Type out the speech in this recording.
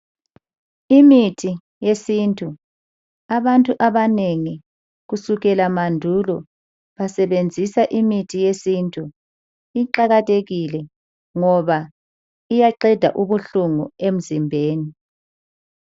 Imithi yesintu. Abantu abanengi kusukela mandulo basebenzisa imithi yesintu. Iqakathekile ngoba iyaqeda ubuhlungu emzimbeni.